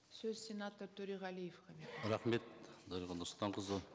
сөз сенатор төреғалиевке беріледі рахмет дариға нұрсұлтанқызы